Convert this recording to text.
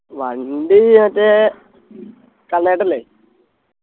വണ്ടി മറ്റേ കണ്ണേട്ടൻ ഇല്ലേ